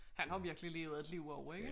Han har virkelig levet et liv også ikke